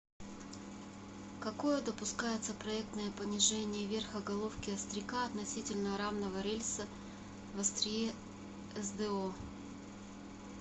какое допускается проектное понижение верха головки остряка относительно рамного рельса в острие сдо